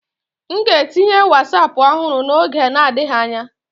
M ga-etinye Wosapu ọhụrụ n'oge adịghị anya.